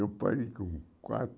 Eu parei com quatro.